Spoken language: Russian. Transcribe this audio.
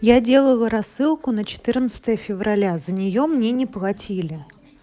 я делаю рассылку за четырнадцатое февраля за нее мне не платили